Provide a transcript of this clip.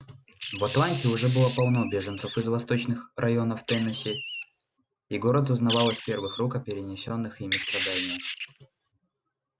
в атланте уже было полно беженцев из восточных районов теннесси и город узнавал из первых рук о перенесённых ими страданиях